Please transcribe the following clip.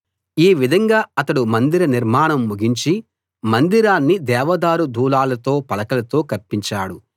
ఈ విధంగా అతడు మందిర నిర్మాణం ముగించి మందిరాన్ని దేవదారు దూలాలతో పలకలతో కప్పించాడు